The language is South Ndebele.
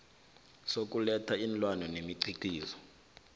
sokuletha iinlwana nemikhiqizo